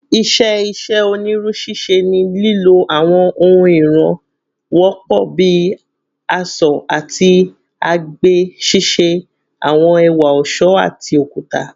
"Iṣẹ́ iṣẹ́ onírú ṣíṣe ni lílò àwọn ohun ìràn wọ́pọ̀ bíi àṣọ́ àti àgbè ṣíṣe àwọn ẹ̀wà ọ̀ṣọ́ àti okuta."